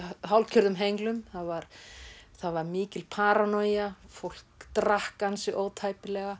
hálfgerðum henglum það var það var mikil paranoja fólk drakk ansi ótæpilega